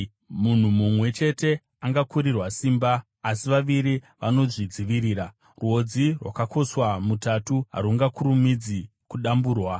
Munhu mumwe chete angakurirwa simba, asi vaviri vanozvidzivirira. Rwodzi rwakakoswa mutatu harungakurumidzi kudamburwa.